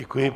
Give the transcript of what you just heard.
Děkuji.